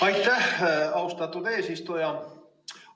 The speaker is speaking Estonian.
Aitäh, austatud eesistuja!